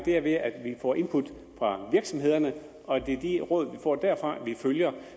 er ved at vi får input fra virksomhederne og at det er de råd vi får derfra vi følger